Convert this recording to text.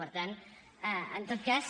per tant en tot cas